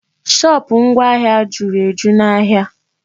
Shopụ̀ ngwa ahịa juru eju n'ahịa.